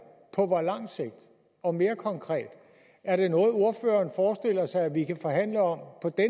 på hvor lang sigt og mere konkret er det noget ordføreren forestiller sig vi kan forhandle om